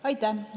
Aitäh!